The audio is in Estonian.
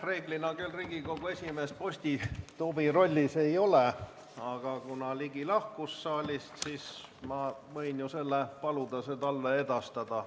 Reeglina küll Riigikogu esimees postituvi rolli ei täida, aga kuna Jürgen Ligi lahkus saalist, siis võin ma ju paluda selle talle edastada.